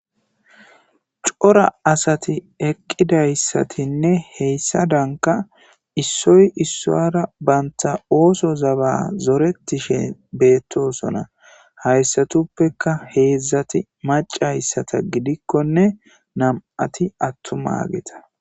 Cora asati eqqidayssatinne heyssa danka issoy issoara baynta ooso zaba zoretishe beettosona hayssatuppeka heedzdzati macayssata gidikkonne nam'ati attuma geta.